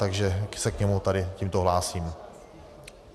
Takže se k němu tady tímto hlásím.